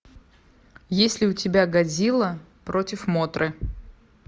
есть ли у тебя годзилла против мотры